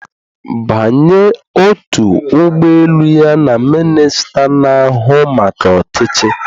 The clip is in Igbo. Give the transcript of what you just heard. Banye otu ụgbọ elu ya na minista na-ahụ maka ọchịchị